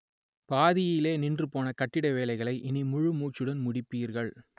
பாதியிலேயே நின்று போன கட்டிட வேலைகளை இனி முழு மூச்சுடன் முடிப்பீர்கள்